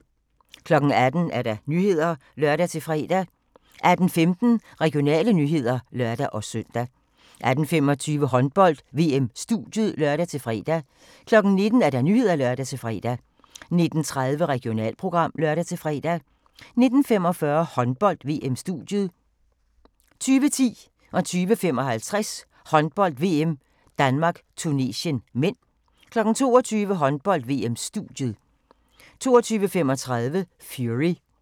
18:00: Nyhederne (lør-fre) 18:15: Regionale nyheder (lør-søn) 18:25: Håndbold: VM-studiet (lør-fre) 19:00: Nyhederne (lør-fre) 19:30: Regionalprogram (lør-fre) 19:45: Håndbold: VM-studiet 20:10: Håndbold: VM - Danmark-Tunesien (m) 20:55: Håndbold: VM - Danmark-Tunesien (m) 22:00: Håndbold: VM-studiet 22:35: Fury